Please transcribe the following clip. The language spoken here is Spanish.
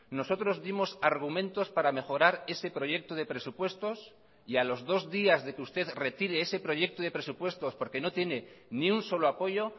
nosotros dimos argumentos para mejorar ese proyecto de presupuestos y a los dos días de que usted retire ese proyecto de presupuestos porque no tiene ni un solo apoyo